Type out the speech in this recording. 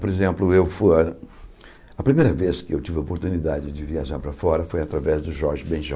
Por exemplo, eu fu ah... A primeira vez que eu tive a oportunidade de viajar para fora foi através do Jorge Ben jor.